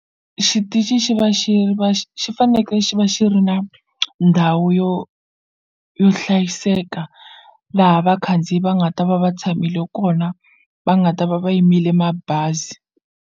Xitichi xi va xi va xi fanekele xi va xi ri na ndhawu yo yo hlayiseka laha vakhandziyi va nga ta va va tshamile kona va nga ta va va yimele mabazi.